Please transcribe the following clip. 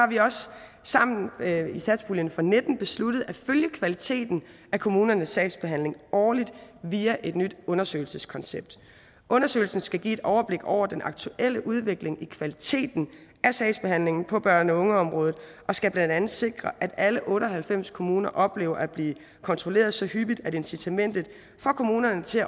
vi også sammen i satspuljen for nitten besluttet at følge kvaliteten af kommunernes sagsbehandling årligt via et nyt undersøgelseskoncept undersøgelsen skal give et overblik over den aktuelle udvikling i kvaliteten af sagsbehandlingen på børne og ungeområdet og skal blandt andet sikre at alle otte og halvfems kommuner oplever at blive kontrolleret så hyppigt at incitamentet for kommunerne til